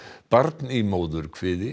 barn í móðurkviði